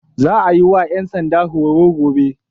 Za a yi wa 'yan sanda horo gobe.